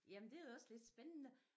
Jamen det er også lidt spændende